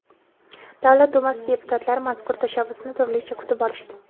Davlat Dumasi deputatlari mazkur tashabbusni turlicha kutib olishdi.